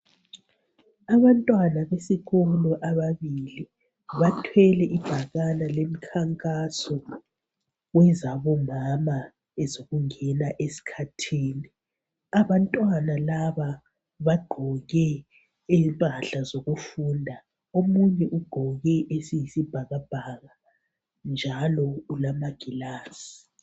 Abantwana besikolo ababili bathwele ibhakana lemikhankaso wezabomama ezokungena esikhathini. Abantwana laba baqgoke impahla zokufunda, omunye oqgoke esiyisibhakabhaka njalo ulamangilazi.